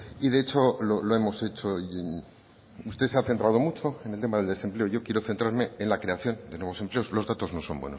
y de hecho lo hemos hecho usted se ha centrado mucho en el tema del desempleo y yo quiero centrarme en la creación de nuevos empleos los datos no son